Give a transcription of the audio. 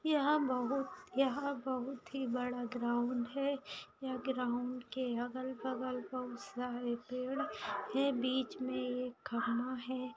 यहाँ बहुत यहाँ बहुत ही बड़ा ग्राउंड है यहाँ ग्राउंड के अगल-बगल बहुत सारे पेड़ है बीच मे एक खंबा है।